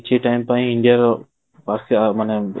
କିଛି time ପାଇଁ India ର